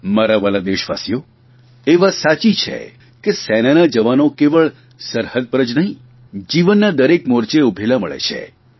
મારા વ્હાલા દેશવાલીઓ એ વાત સાચી છે કે સેનાના જવાનો કેવળ સરહદ પર જ નહીં જીવનના દરેક મોરચે ઉભેલા મળે છે